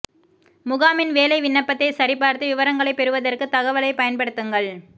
முகாமின் வேலை விண்ணப்பத்தை சரிபார்த்து விவரங்களைப் பெறுவதற்கு தகவலைப் பயன்படுத்துங்கள்